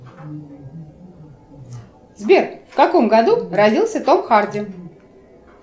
сбер в каком году родился том харди